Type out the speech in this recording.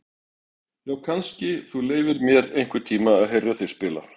Já, kannski þú leyfir mér einhvern tíma að heyra þig spila.